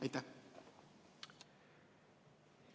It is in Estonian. Aitäh!